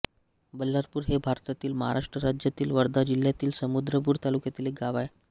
बल्हारपूर हे भारतातील महाराष्ट्र राज्यातील वर्धा जिल्ह्यातील समुद्रपूर तालुक्यातील एक गाव आहे